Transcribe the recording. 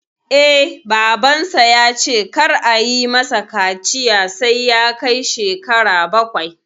Eh, Babansa ya ce kar ayi mai kaciya sai ya kai shekara bakwai